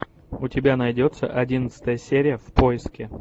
у тебя найдется одиннадцатая серия в поиске